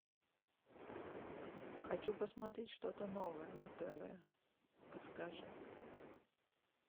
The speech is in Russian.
хочу посмотреть что то новое на тв подскажи